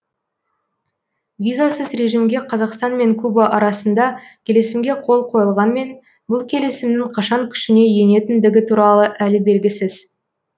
визасыз режимге қазақстанмен куба арасында келісімге қол қойылғанмен бұл келісімнің қашан күшіне енетіндігі туралы әлі белгісіз